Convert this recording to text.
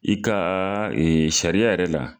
I kaa e sariya yɛrɛ la